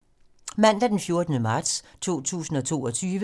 Mandag d. 14. marts 2022